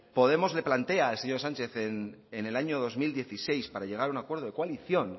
podemos le plantea al señor sánchez en el año dos mil dieciséis para llegar a un acuerdo de coalición